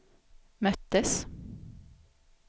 möttes